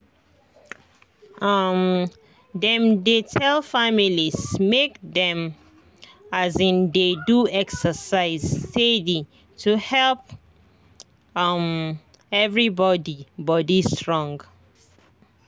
um dem dey tell families make dem um dey do exercise steady to help um everybody body strong.